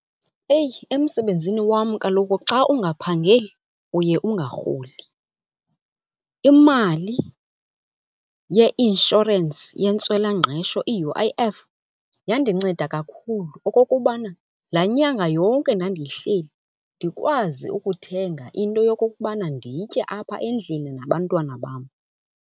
Eyi emsebenzini wam kaloku xa ungaphangeli uye ungarholi. Imali yeinshorensi yentswelangqesho i-U_I_F yandinceda kakhulu okokubana laa nyanga yonke ndandiyihleli ndikwazi ukuthenga into yokokubana nditye apha endlini nabantwana bam.